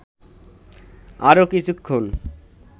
আরও কিছুক্ষণ